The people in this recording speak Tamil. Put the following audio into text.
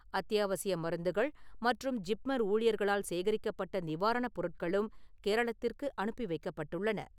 அத்தியாவசிய மருந்துகள் மற்றும் ஜிப்மர் ஊழியர்களால் சேகரிக்கப்பட்ட நிவாரணப் பொருட்களும் கேரளத்திற்கு அனுப்பி வைக்கப்பட்டுள்ளன.